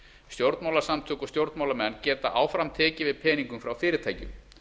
stjórnmálasamtök og stjórnmálamenn geta áfram tekið við peningum frá fyrirtækjum